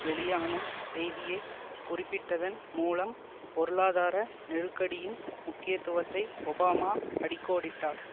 வெளியான செய்தியை குறிப்பிட்டதன் மூலம் பொருளாதார நெருக்கடியின் முக்கியத்துவத்தை ஒபாமா அடிக்கோடிட்டார்